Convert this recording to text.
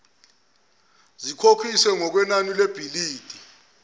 zikhokhiswe ngokwenani lebhilidi